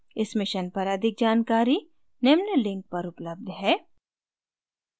इस mission पर अधिक जानकारी निम्न लिंक पर उपलब्ध है